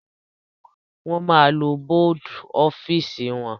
Wọ́n máa lo bọ́dù ọ́fìsì wọn.